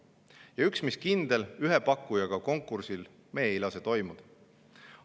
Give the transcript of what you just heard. Ja üks, mis kindel: ühe pakkujaga konkursil me ei lase toimuda.